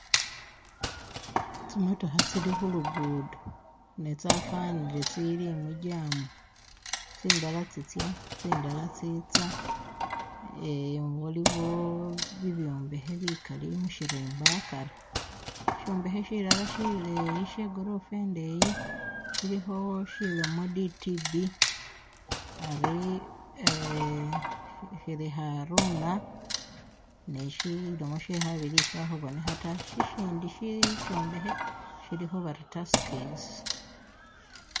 Tsimotokha tsili khulugudo ne tsafanile tsili mu'jam tsindala tsitsa tsindala tsetsa haliwo bibyombekhe bikali mushirimba akari shombekhe shilala shileyi shegorofa indeyi shilikho shilomo "DTB" hari shiri "haruna" ne shilomo shekhabili shakhubonekha ta shishindi shishombekhe shilikho bari "taskis"